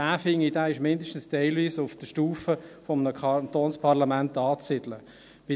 Ich finde, das sei zumindest teilweise auf der Stufe eines Kantonsparlaments anzusiedeln.